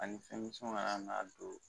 Ani fɛnmisɛnw kana n'a don